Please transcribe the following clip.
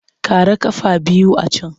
Ƙara ƙafa biyu a can!